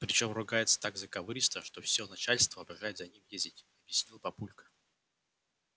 причём ругается так заковыристо что всё начальство обожает с ним ездить объяснил папулька